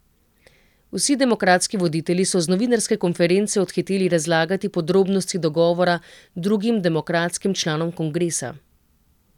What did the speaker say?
Vsi demokratski voditelji so z novinarske konference odhiteli razlagati podrobnosti dogovora drugim demokratskim članom kongresa.